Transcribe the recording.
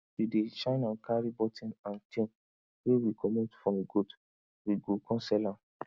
we dey shine and carv button and chain wey we comot from goat we go come sell am